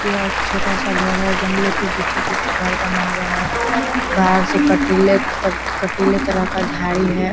यह एक छोटा सा घर है जंगलो के बीचों-बीच घर बना हुआ है बाहर से कटीले कटीले तरह का झाड़ी है।